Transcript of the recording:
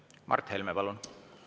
Mart Helme, palun!